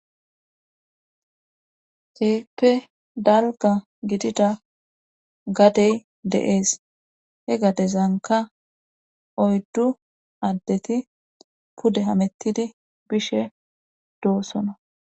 Ceeppe dalga gidida gadey de'ees he gadezanka oyddu addeti pude hamettidi bishe doossono.